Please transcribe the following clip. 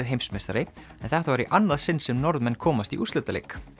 heimsmeistari en þetta var í annað sinn sem Norðmenn komast í úrslitaleik